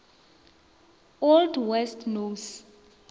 old west norse